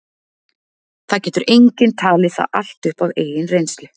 Það getur enginn talið það allt upp af eigin reynslu.